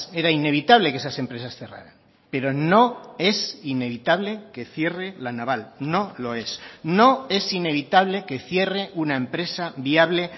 era inevitable que esas empresas cerraran pero no es inevitable que cierre la naval no lo es no es inevitable que cierre una empresa viable